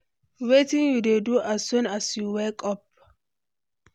wetin you dey do as soon as you wake up?